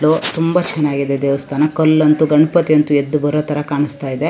Hello ತುಂಬಾ ಚನ್ನಾಗಿದೆ ದೇವಸ್ಥಾನ ಕಲ್ಲಂತ್ತು ಗಣಪತಿ ಅಂತು ಎದ್ದ ಬರೋತರ ಕಾಣಸ್ತಾ ಇದೆ.